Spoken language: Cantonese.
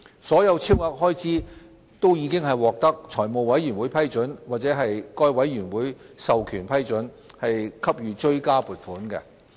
所有超額開支均已獲得財務委員會批准或該委員會授權批准，給予追加撥款。